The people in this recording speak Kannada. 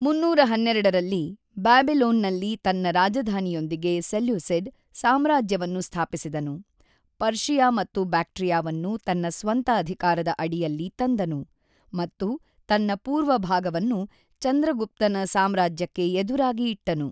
೩೧೨ ರಲ್ಲಿ, ಬ್ಯಾಬಿಲೋನ್‌ನಲ್ಲಿ ತನ್ನ ರಾಜಧಾನಿಯೊಂದಿಗೆ ಸೆಲ್ಯೂಸಿಡ್ ಸಾಮ್ರಾಜ್ಯವನ್ನು ಸ್ಥಾಪಿಸಿದನು, ಪರ್ಷಿಯಾ ಮತ್ತು ಬ್ಯಾಕ್ಟ್ರಿಯಾವನ್ನು ತನ್ನ ಸ್ವಂತ ಅಧಿಕಾರದ ಅಡಿಯಲ್ಲಿ ತಂದನು, ಮತ್ತು ತನ್ನ ಪೂರ್ವ ಭಾಗವನ್ನು ಚಂದ್ರಗುಪ್ತನ ಸಾಮ್ರಾಜ್ಯಕ್ಕೆ ಎದುರಾಗಿ ಇಟ್ಟನು.